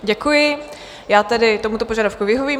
Děkuji, já tedy tomuto požadavku vyhovím.